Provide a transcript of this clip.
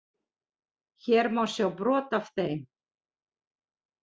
Hér má sjá brot af þeim.